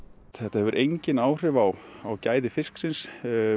þetta hefur engin áhrif á á gæði fisksins